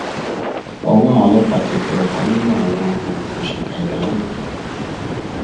ọwọ àwọn ọlọpàá ti tẹ ọkan nínú àwọn amọòkùnsíkà ẹdá náà